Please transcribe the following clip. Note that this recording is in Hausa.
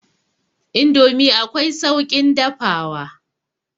Indomi akwai sauƙin dafawa.